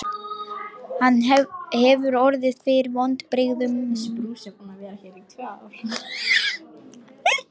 Hann hefur orðið fyrir vonbrigðum með kvöldið fram að þessu.